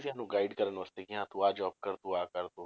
ਸਾਨੂੰ guide ਕਰਨ ਵਾਸਤੇ ਕਿ ਹਾਂ ਤੂੰ ਆਹ job ਕਰ ਤੂੰ ਆ ਕਰ